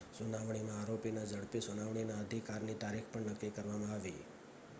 સુનાવણીમાં આરોપીના ઝડપી સુનાવણીના અધિકારની તારીખ પણ નક્કી કરવામાં આવી